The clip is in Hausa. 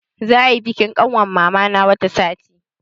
Za ayi bikin ƙanwar mama na wata sati.